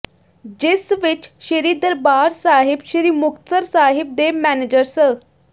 ਜਿਸ ਵਿੱਚ ਸ੍ਰੀ ਦਰਬਾਰ ਸਾਹਿਬ ਸ੍ਰੀ ਮੁਕਤਸਰ ਸਾਹਿਬ ਦੇ ਮੈਨੇਜਰ ਸ